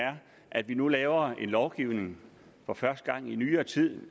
er at vi nu laver en lovgivning for første gang i nyere tid